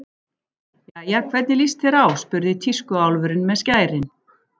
Jæja, hvernig líst þér á spurði tískuálfurinn með skærin.